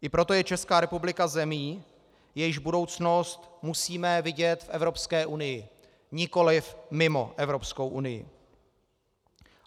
I proto je Česká republika zemí, jejíž budoucnost musíme vidět v Evropské unii, nikoliv mimo Evropskou unii.